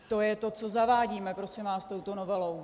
To je to, co zavádíme, prosím vás, touto novelou.